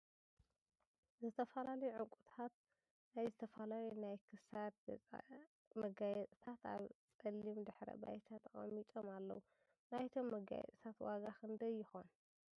ዝተፈላለዩ ዕንቁታት ናይ ዝተፈላለዩ ናይ ክሳድ ጌጣ ጌጥ ኣብ ፀሊም ድሕረ ባይታ ተቀሚጦም ኣለዉ ። ናይቶም ጌጣት ዋጋ ክንደይ ይከውን ?